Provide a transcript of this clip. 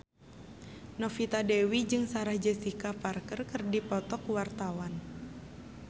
Novita Dewi jeung Sarah Jessica Parker keur dipoto ku wartawan